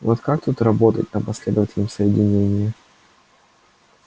вот как тут работать на последовательном соединении